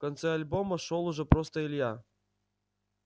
в конце альбома шёл уже просто илья